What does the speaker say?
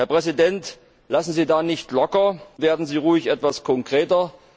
Herr Präsident, lassen Sie da nicht locker, und werden Sie ruhig etwas konkreter.